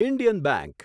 Indian bank